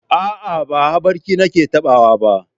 A'a, ba haɓarki nake taɓawa ba.